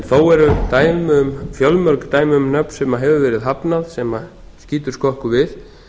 þó eru fjölmörg dæmi um nöfn sem hefur verið hafnað sem skýtur skökku við